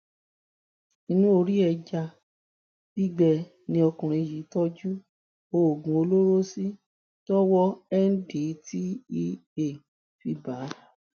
inú orí ẹja gbígbẹ ni ọkùnrin yìí tọjú oògùn olóró sí tọwọ ndtea fi bá a